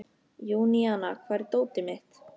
Júníana, hvar er dótið mitt?